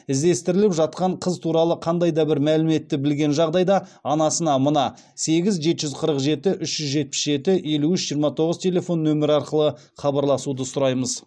іздестіріліп жатқан қыз туралы қандайда бір мәліметті білген жағдайда анасына мына сегіз жеті жүз қырық жеті үш жүз жетпіс жеті елу үш жиырма тоғыз телефон нөмері арқылы хабарласуды сұраймыз